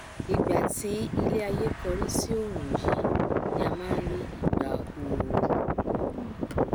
ìgbà tí iléaiyé kórí sí òòrùn yìí ni a máa nrí ìgbà ooru